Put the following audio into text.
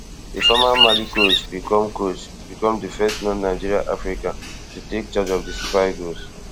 di former mali coach become coach become di first nonnigerian african to take charge of di super eagles